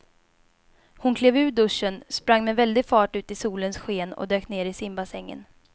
Hon klev ur duschen, sprang med väldig fart ut i solens sken och dök ner i simbassängen.